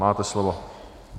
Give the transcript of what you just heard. Máte slovo.